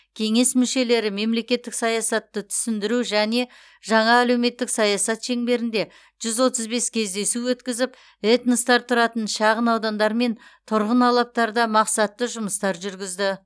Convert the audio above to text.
кеңес мүшелері мемлекеттік саясатты түсіндіру және жаңа әлеуметтік саясат шеңберінде жүз отыз бес кездесу өткізіп этностар тұратын шағынаудандар мен тұрғын алаптарда мақсатты жұмыстар жүргізді